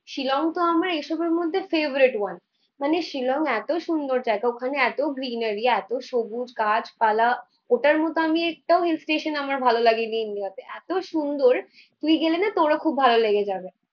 শিলং তো আমার এসবের মধ্যে favorite one মানে শিলং এতো সুন্দর জায়গা ওখানে এতো greenery এতো সবুজ গাছ পালা। ওটার মতো আমি একটাও hill station আমার ভালো লাগেনি India তে। এতো সুন্দর তুই গেলেনা তোরও খুব ভালো লেগে যাবে